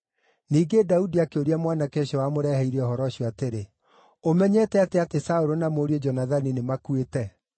Ningĩ Daudi akĩũria mwanake ũcio wamũreheire ũhoro ũcio atĩrĩ, “Ũmenyete atĩa atĩ Saũlũ na mũriũ Jonathani nĩmakuĩte?”